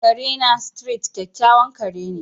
Kare na, Street, kyakkyawan ƙare ne.